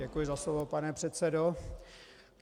Děkuji za slovo, pane předsedo.